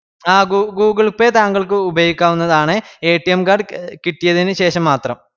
ആഹ് google pay താങ്കൾക്ക് ഉപയോഗിക്കാവുന്നതാണ് card കിട്ടിയതിനുശേഷമാത്രം